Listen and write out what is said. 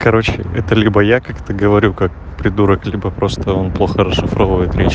короче это либо я как-то говорю как придурок либо просто он плохо расшифровывает речь